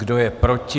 Kdo je proti?